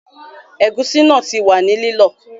Ẹ̀gúsí náà ti wà ní lílọ